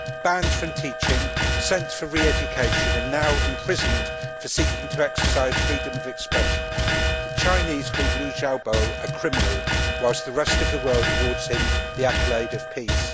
banned from teaching, sent for re education and now imprisoned for seeking to exercise freedom of expression, the Chinese called Liu Xiaobo a criminal whilst the rest of the world awards him the accolade for peace.